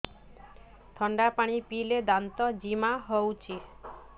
ଥଣ୍ଡା ପାଣି ପିଇଲେ ଦାନ୍ତ ଜିମା ହଉଚି